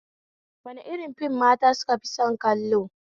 Wani irin fim mata sukafi son kallo?